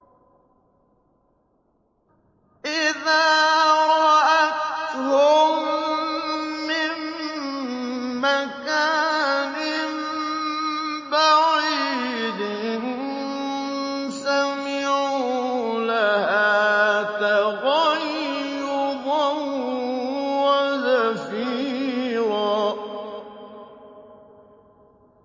إِذَا رَأَتْهُم مِّن مَّكَانٍ بَعِيدٍ سَمِعُوا لَهَا تَغَيُّظًا وَزَفِيرًا